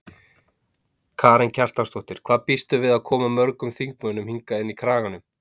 Karen Kjartansdóttir: Hvað býstu við að koma mörgum þingmönnum hingað inn í Kraganum?